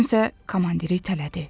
Kimsə komandiri itələdi.